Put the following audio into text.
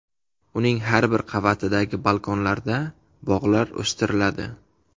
Uning har bir qavatidagi balkonlarda bog‘lar o‘stiriladi.